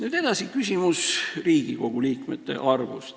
Nüüd edasi, Riigikogu liikmete arv.